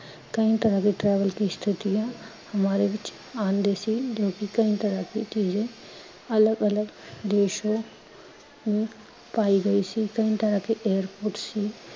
ਕਈ ਤਰ੍ਹਾਂ ਦੀ travel ਕੀ ਸਥਿਤੀ ਹੈ, ਹਮਾਰੇ ਵਿਚ ਆਂਦੇ ਸੀ ਕਈ ਤਰ੍ਹਾਂ ਕੀ ਚੀਜ਼ੇਂ। ਅਲਗ ਅਲਗ ਦੇਸ਼ੋਂ ਕਈ ਤਰ੍ਹਆਂ ਕੇ airport ਸੀ